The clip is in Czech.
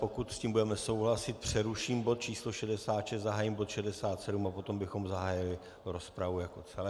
Pokud s tím budeme souhlasit, přeruším bod číslo 66, zahájím bod 67 a potom bychom zahájili rozpravu jako celek.